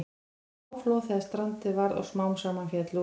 Það var háflóð þegar strandið varð og smám saman féll út.